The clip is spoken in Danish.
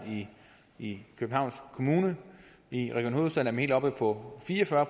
i københavns kommune i region hovedstaden helt oppe på fire og fyrre